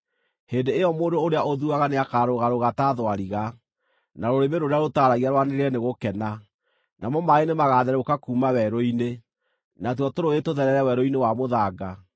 Hĩndĩ ĩyo mũndũ ũrĩa ũthuaga nĩakarũgarũga ta thwariga, na rũrĩmĩ rũrĩa rũtaaragia rwanĩrĩre nĩ gũkena. Namo maaĩ nĩmagatherũka kuuma werũ-inĩ, natuo tũrũũĩ tũtherere werũ-inĩ wa mũthanga.